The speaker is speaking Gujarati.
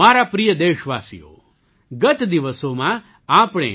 મારા પ્રિય દેશવાસીઓ ગત દિવસોમાં આપણે